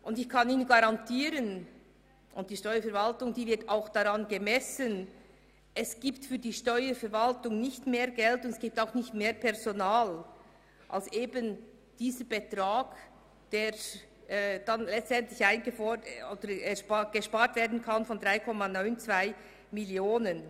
Ich kann Ihnen garantieren, dass die Steuerverwaltung auch daran gemessen wird, und dass sie nicht mehr Geld und Personal erhält, als dies dem Betrag von 3,92 Mio. Franken entspricht.